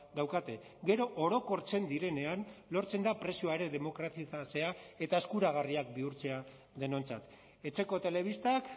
daukate gero orokortzen direnean lortzen da prezioa ere demokratizatzea eta eskuragarriak bihurtzea denontzat etxeko telebistak